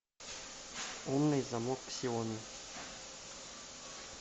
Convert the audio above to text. умный замок ксиоми